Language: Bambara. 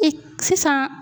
E sisan.